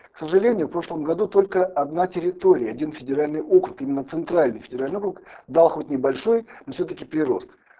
к сожалению в прошлом году только одна территория один федеральный округ именно центральный федеральный округ дал хоть небольшой но всё таки прирост